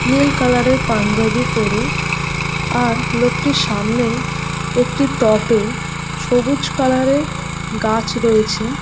নীল colour -এর পাঞ্জাবি পরে আর লোকটির সামনেই একটি টবে সবুজ কালার -এর গাছ রয়েছে ।